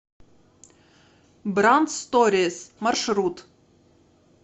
брандсторис маршрут